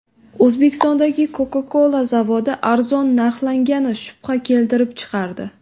O‘zbekistondagi Coca-Cola zavodi arzon narxlangani shubha keltirib chiqardi.